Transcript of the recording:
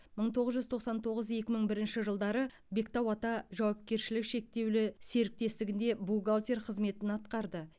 мың тоғыз жүз тоқсан тоғыз екі мың бірінші жылдары бектауата жауапкершілігі шектеулі серіктестігінде бухалтер қызметін атқарды